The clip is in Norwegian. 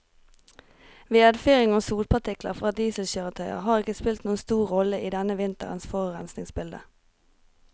Vedfyring og sotpartikler fra dieselkjøretøyer har ikke spilt noen stor rolle i denne vinterens forurensningsbilde.